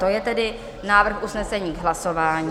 To je tedy návrh usnesení k hlasování.